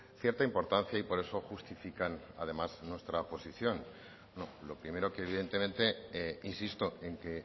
cierta importancia y por eso justifican además nuestra posición lo primero que evidentemente insisto en que